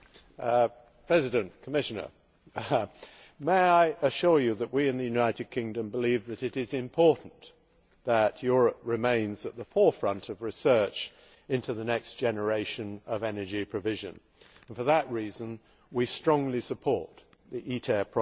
Mr President, may I assure the Commissioner that we in the United Kingdom believe that it is important for Europe to remain at the forefront of research into the next generation of energy provision. For that reason we strongly support the ITER project.